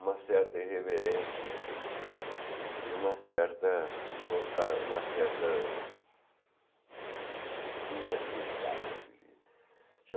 Uma certa irreverência e uma certa... nostal uma certa... intranquilidade, eu diria.